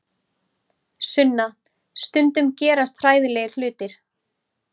Sunna, stundum gerast hræðilegir hlutir.